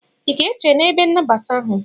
I ga-eche n'ebe nnabata ahụ?